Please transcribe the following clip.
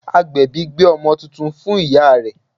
Agbèbí gbé ọmọ titun fún ìyá rẹ̀